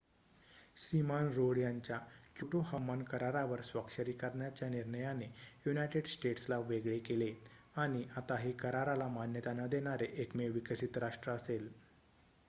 श्रीमान Rudd यांच्या Kyoto हवामान करारावर स्वाक्षरी करण्याच्या निर्णयाने युनायटेड स्टेट्सला वेगळे केले आणि आता हे कराराला मान्यता न देणारे एकमेव विकसित राष्ट्र असेल